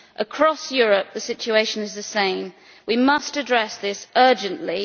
Across Europe, the situation is the same, and we must address this urgently.